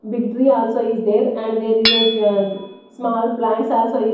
big tree also is there and there is a ah small plants also is --